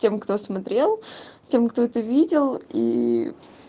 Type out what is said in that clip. тем кто смотрел тем кто это видел и